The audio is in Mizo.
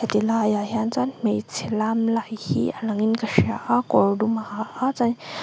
ti laiah hian chuan hmeichhia lam lai hi a lang in ka hria a kawr dum a ha a chuan--